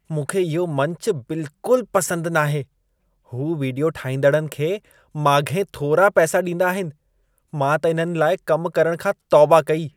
मूंखे इहो मंचु बिल्कुलु पसंदि नाहे। हू वीडियो ठाहींदड़नि खे माॻिहीं थोरा पैसा ॾींदा आहिनि। मां त इन्हनि लाइ कम करण खां तौबा कई।